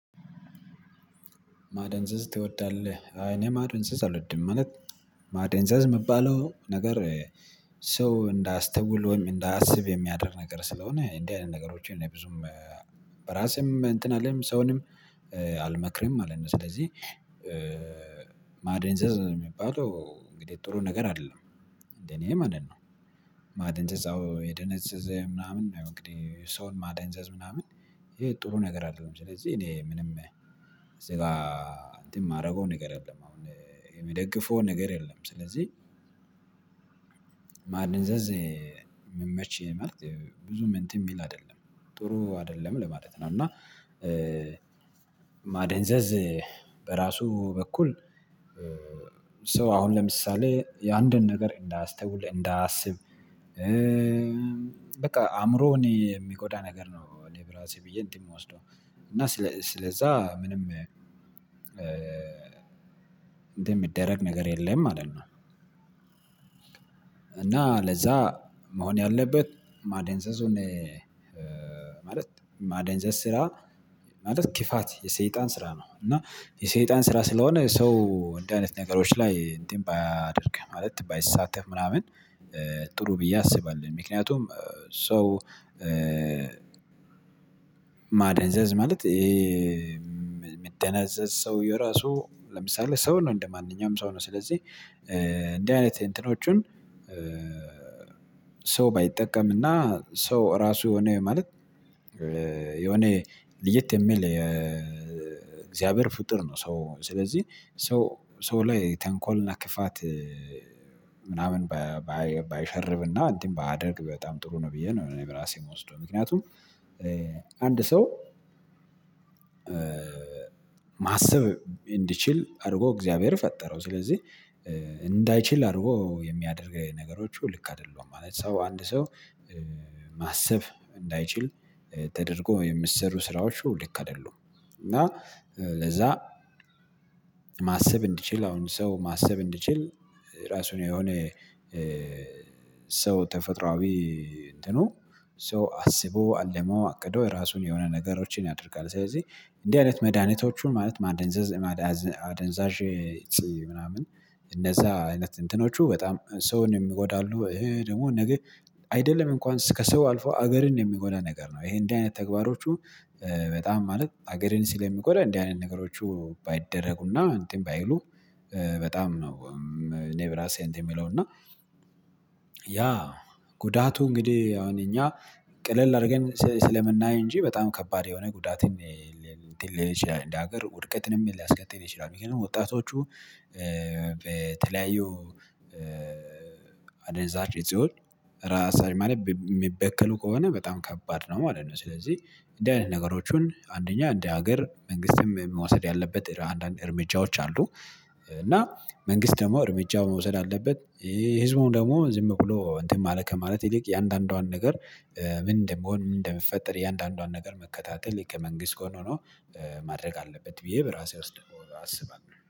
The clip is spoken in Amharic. ማደንዘዝ ትወዳለህ? አይ እኔ ማደንዘዝ አልወድም ማለት ማደንዘዝ ሚባለው ነገር ሰው እንዳያስተውል ወይም እንዳያስብ የሚያደርግ ነገር ስለሆነ እንዲህ አይነት ነገሮችን እኔ ብዙም በራሴም እንትን አልልም ሰውንም አልመክርም ማለት ነው። ስለዚህ እ ማደንዘዝ የሚባሉ እንግዲህ ጥሩ ነገር አይደለም እንደኔ ማለት ነው። ማደንዘዝ አዎ የደነዘዘ ምናምን እንግዲህ ሰውን ማደንዘዝ ምናምን ይሄ ጥሩ ነገር አይደለም ስለዚህ እኔ ምንም እዚህ ጋር እንትን ማደርገው ነገር የለም። አሁን የምደግፈው ነገር የለም። ስለዚህ ማድንዘዝ ሚመች ምርጥ ብዙም እንትን የሚል አይደለም ጥሩ አይደለም ለማለት ነው። እና እ ማደንዘዝ በራሱ በኩል እ ሰው አሁን ለምሳሌ የአንድን ነገር እንዳያስተውል እንዳያስብ እ በቃ አእምሮውን የሚጎዳ ነገር ነው። እኔ በራሴ ብዬ እንትን የምወስደው እና ስለዛ ምንም እ እንደሚደረግ ነገር የለም ማለት ነው። እና ለዛ መሆን ያለበት ማደንዘዙን እ ማለት ማደንዘዝ ስራ ማለት ክፋት የሰይጣን ስራ ነው። እና የሰይጣን ስራ ስለሆነ ሰው እንደዚህ አይነት ነገሮች ላይ እንዴት ባያደርግህ ማለት ባይሳተፍ ምናምን እ ጥሩ ብዬ አስባለሁ። ምክንያቱም እ ሰው እ ማደንዘዝ ማለት ምትደነዘዝ ሰው የራሱ ለምሳሌ ሰው ነው እንደማንኛውም ሰው ነው። ስለዚህ እ እንዲህ አይነት እንትኖቹን ሰው ባይጠቀምና ሰው ራሱ የሆነ ማለት የሆነ ልየት የሚል የ እግዚአብሔር ፍጡር ነው። ሰው ስለዚህ ሰው ሰው ላይ ተንኮልና ክፋት እ ምናምን ባይ ባይሸርብና እንትን ባያደርግ በጣም ጥሩ ነው ብዬ ነው። እኔ በራሴ የምወስደው ምክንያቱም እ አንድ ሰው ማሰብ እንዲችል አድርጎ እግዚአብሔር ፈጠረው ስለዚህ እንዳይችል አድርጎ የሚያደርግ ነገሮች ልክ አይደሉም ማለት ነው። ሰው አንድ ሰው እ ማሰብ እንዳይችል ተደርጎ የሚሰሩ ስራዎች ልክ አይደሉም። እና ለዛ ማሰብ እንዲችል አሁን ሰው ማሰብ እንዲችል ራሱን የሆነ እ ሰው ተፈጥሮአዊ እንትኑ ሰው አስቦ አልሞ አቅዶ እራሱን የሆነ ነገሮችን ያደርጋል። ስለዚህ እንዲህ አይነት መድሃኒቶቹን ማለት ማደንዘዝ አደንዛዥ እፅ ምናምን እነዛ አይነት እንትኖቹ በጣም ሰውንም ይጎዳሉ። እ ደግሞ ነገ አይደለም እንኳን ከሰው አልፈው ሀገርን የሚጎዳ ነገር ይኼ እንዲህ አይነት ተግባሮቹ በጣም ማለት ሀገርን ስለሚጎዳ እንዲህ አይነት ነገሮቹ ባይደረጉና እንትን ባይሉ በጣም ነው። እኔ በራሴ እንትን ምለው እና ያ ጉዳቱ እንግዲህ አሁን እኛ ቀለል አድርገን ስለምናይ እንጂ በጣም ከባድ የሆነ ጉዳትም ል እንትን ሊል ይችላል እንደ ሀገር ውድቀትንም ሊያስከትል ይችላል። ምክንያቱም ወጣቶቹ በ ተለያዩ እ አደንዛዥ እፆች እራሳ ማለት የሚበከሉ ከሆነ በጣም ከባድ ነው ማለት ነው። ስለዚህ እንዲህ አይነት ነገሮቹን አንደኛ እንደ ሀገር መንግስትም መውሰድ ያለበት አንዳንድ እርምጃዎች አሉ። እና መንግስት ደግሞ እርምጃ መውሰድ ያለበት ይሄ ህዝቡን ደግሞ ዝም ብሎ እንትን ማለት ከማለት ይልቅ እያንዳንዷን ነገር እ ምን እንደሚሆን ምን እንደሚፈጠር እያንዳንዷን ነገር መከታተል ከመንግስት ጎን ሆኖ ማድረግ አለበት። ብዬ በራሴ ወስዳለው። አስባለሁ